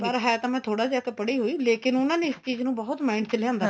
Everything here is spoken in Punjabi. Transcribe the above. ਪਰ ਹੈ ਤਾਂ ਮੈਂ ਥੋੜਾ ਜਾ ਤਾਂ ਪੜ੍ਹੀ ਹੋਈ ਲੇਕਿਨ ਉਹਨਾ ਨੇ ਇਸ ਚੀਜ਼ ਨੂੰ ਬਹੁਤ mind ਚ ਲਿਆਂਦਾ